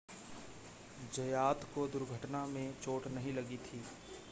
ज़यात को दुर्घटना में चोट नहीं लगी थी